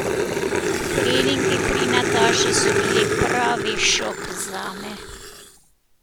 Treningi pri Nataši so bili pravi šok zame.